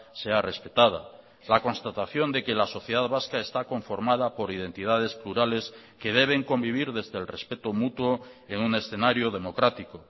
sea respetada la constatación de que la sociedad vasca está conformada por identidades plurales que deben convivir desde el respeto mutuo en un escenario democrático